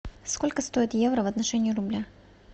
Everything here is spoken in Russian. сколько стоит евро в отношении рубля